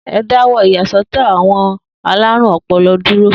E dáwọ́ ìyàsọ́tọ̀ àwọn alarun-ọpọlọ dúró